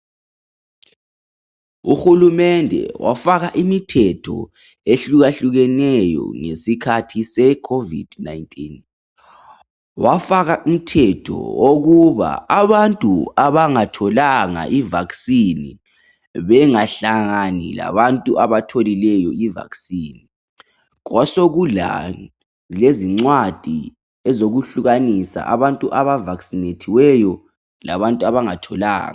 Uhulumende wafaka imithetho ehlukahlukeneyo ngesikhathi sekhovidi. Wafaka umthetho wokuba abantu abangahlatshwanga ijekiseni yokuvikela lumkhuhlane bangahlangani labahlatshiweyo. Kwasokulezincwadi zokwehlukanisa abahlatshiweyo labangahlatshwanga.